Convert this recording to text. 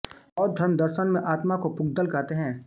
बौद्ध धर्मदर्शन में आत्मा को पुद्गल कहते हैं